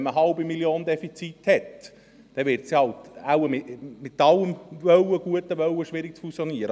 Wenn man eine halbe Million Franken Defizit hat, wird es wohl mit allem guten Wollen schwierig zu fusionieren.